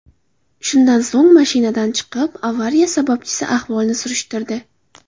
Shundan so‘ng mashinadan chiqib, avariya sababchisi ahvolini surishtirdi.